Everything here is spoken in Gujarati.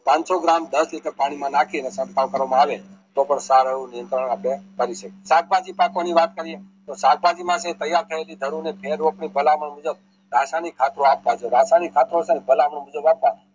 પાનસો ગ્રામ દસ લિટર પાણી માં નાખીને કરવા માં આવે તોહ પણ સારું કરી શકીયે સાખભાજી પાકવાની વાત કરીયે તો સાખભાજી માંથી તૈયાર થયેલી મુજબ